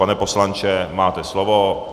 Pane poslanče, máte slovo.